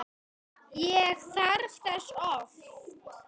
Ég þarf þess oft.